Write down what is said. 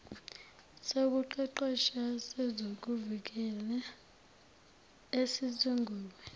sokuqeqesha sezokuvikela esisungulwe